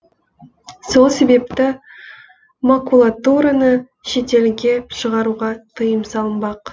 сол себепті макулатураны шетелге шығаруға тыйым салынбақ